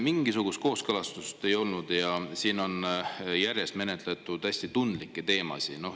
Mingisugust kooskõlastust ei olnud ja siin on järjest menetletud hästi tundlikke teemasid.